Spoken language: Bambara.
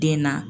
Den na